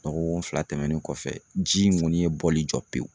Dɔgɔkun fila tɛmɛnen kɔfɛ ji in kɔni ye bɔli jɔ pewu.